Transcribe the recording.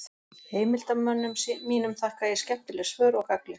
Heimildarmönnum mínum þakka ég skemmtileg svör og gagnleg.